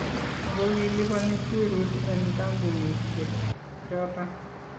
Ako kilibani syuuruut en kambunisyeek choton